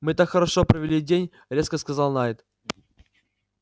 мы так хорошо провели день резко сказал найд